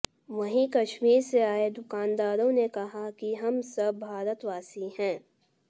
वहीं कश्मीर से आए दुकानदारों ने कहा कि हम सब भारतवासी हैं